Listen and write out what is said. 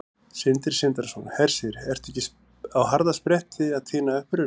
Sindri Sindrason: Hersir, ertu ekki á harðaspretti að tína upp rusl?